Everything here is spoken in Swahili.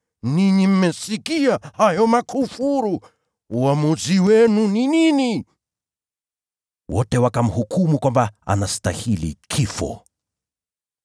Ninyi mmesikia hayo makufuru. Uamuzi wenu ni gani?” Wote wakamhukumu kwamba anastahili kifo.